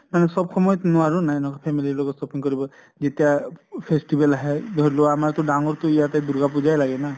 মানে চব সময়ত নোৱাৰো নাই নুকা family ৰ লগত shopping কৰিব, যেতিয়া festival আহে ধৰি লোৱা আমাৰ তো ডাঙৰ টো দুৰ্গা পুজাই লাগে না